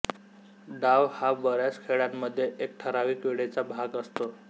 डाव हा बऱ्याच खेळांमध्ये एक ठरावीक वेळेचा भाग असतो